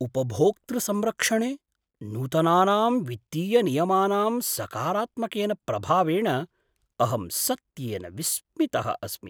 उपभोक्तृसंरक्षणे नूतनानां वित्तीयनियमानां सकारात्मकेन प्रभावेण अहं सत्येन विस्मितः अस्मि।